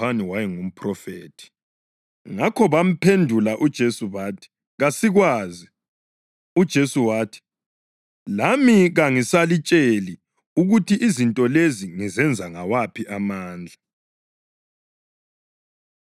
Ngakho bamphendula uJesu bathi, “Kasikwazi.” UJesu wathi, “Lami kangisalitsheli ukuthi izinto lezi ngizenza ngawaphi amandla.”